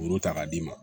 Muru ta k'a d'i ma